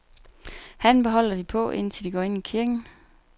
Hatten beholder de på, indtil de går ind i kirken.